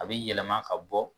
A bɛ yɛlɛma ka bɔ.